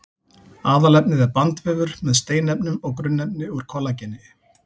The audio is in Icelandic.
Aðalefnið er bandvefur með steinefnum og grunnefni úr kollageni.